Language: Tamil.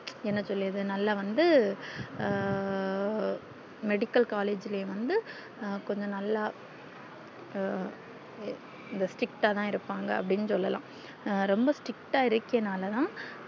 என்ன சொல்லியது நல்ல வந்து ஹம் medical collage ளையும் வந்து கொஞ்ச நல்லா இங்க strict தான் இருப்பாங்க அப்டின்னு சொல்லல்லா ரொம்ப strict இருக்குறே நாளதான்